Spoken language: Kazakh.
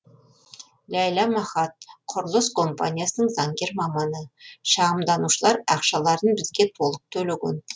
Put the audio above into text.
ләйла махат құрылыс компаниясының заңгер маманы шағымданушылар ақшаларын бізге толық төлеген